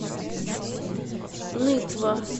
нытва